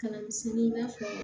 Kalan misɛnni i n'a fɔ